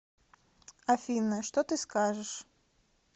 афина что ты скажешь